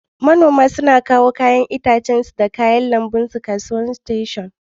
Manomi sukan kawo yayan itatuwa da kayan lambu daga gona su sayar a'kasuwan station.